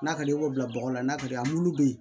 N'a ka di ye i b'o bila bɔgɔ la n'a ka di ye an minnu bɛ yen